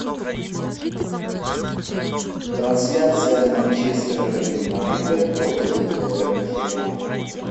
трансляция манчестера юнайтед против тоттенхэма